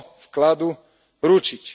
vkladu, ručiť.